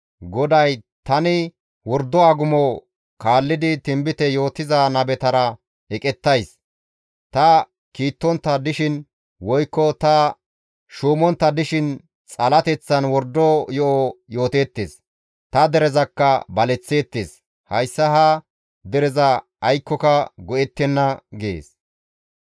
GODAY, «Tani wordo agumo kaallidi tinbite yootiza nabetara eqettays; ta kiittontta dishin woykko ta shuumontta dishin xalateththan wordo yo7o yooteettes; ta derezakka baleththeettes; hayssa ha dereza aykkoka go7ettenna» gees.